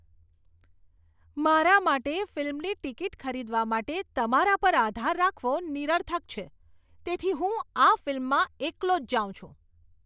મારા માટે ફિલ્મની ટિકિટ ખરીદવા માટે તમારા પર આધાર રાખવો નિરર્થક છે, તેથી હું આ ફિલ્મમાં એકલો જ જાઉં છું.